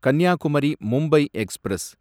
Kanyakumari Mumbai express